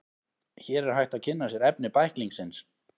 Hér er hægt að kynna sér efni bæklingsins.